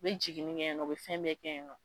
U bɛ jiginni kɛ yan nɔ, u bi fɛn bɛ kɛ yan nɔ